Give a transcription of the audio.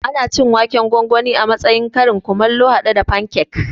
Ana cin waken gwangwani a matsayin karin kumallo haɗe da fankek